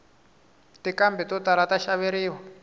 tinqhambi to tala ta xaveriwa